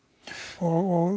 og